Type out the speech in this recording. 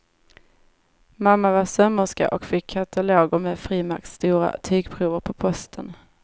Mamma var sömmerska och fick kataloger med frimärksstora tygprover på posten.